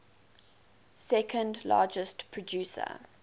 second largest producer